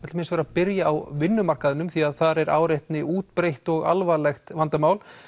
byrjum á vinnumarkaðinum því þar er áreitni útbreidd og alvarlegt vandamál